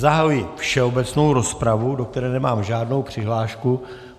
Zahajuji všeobecnou rozpravu, do které nemám žádnou přihlášku.